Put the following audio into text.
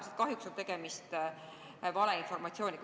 Nii et kahjuks on tegemist valeinformatsiooniga.